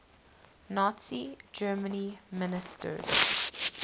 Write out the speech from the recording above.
nazi germany ministers